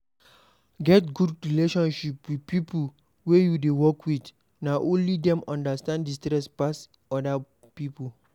Get good relationship with pipo wey you dey work with, na only dem understand di stress pass oda pipo